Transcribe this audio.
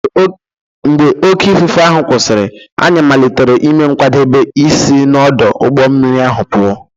Mgbe oké ifufe ahụ kwụsịrị, anyị malitere ime nkwadebe isi n’ọdụ ụgbọ mmiri ahụ pụọ.